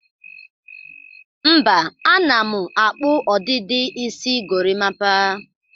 Mba, ana m akpụ ọdịdị isi gorimapa.